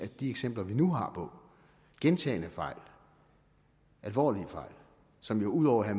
de eksempler vi nu har på gentagne fejl alvorlige fejl som jo ud over at